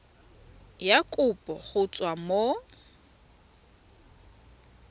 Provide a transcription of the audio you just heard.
ya kopo go tswa mo